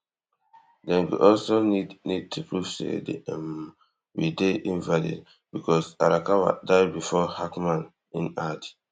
dem go also need need to prove say di um we dey invalid becos arakawa die bifor hackman in add